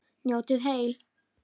Njótið heil.